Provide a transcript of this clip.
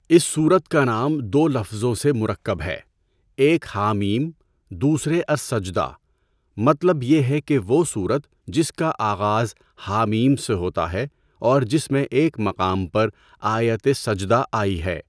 اس سورت کا نام دو لفظوں سے مرکب ہے۔ ایک حٰم دوسرے السجدہ۔ مطلب یہ ہے کہ وہ سورت جس کا آغاز حٰم سے ہوتا ہے اور جس میں ایک مقام پر آیت سجدہ آئی ہے۔